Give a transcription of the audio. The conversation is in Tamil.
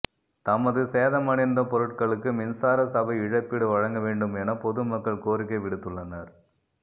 தமது சேதமடைந்த பொருட்களுக்கு மின்சார சபை இழப்பீடு வழங்கவேண்டும் என பொது மக்கள் கோரிக்கை விடுத்துள்ளனர்